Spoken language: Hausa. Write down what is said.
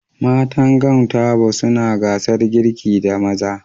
Matan Gwan Tabo suna gasar girki da maza